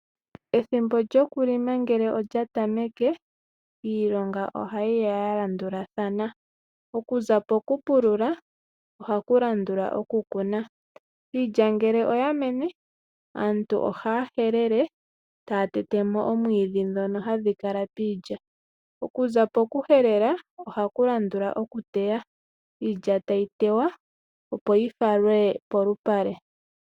Ethimbo lyokulinga ngele okyabtameke uilonga ohayiya ya landulathana . Okuza poku pulula ohapu landula okukuna . Iilya ngele oya mene aantu ohaya helele taya tetwmo omwiidhi ngono hagu kala piilya, okuza poku poku helela ohapu landula okuteya iilya tayi teywa opo yifalwe polupale.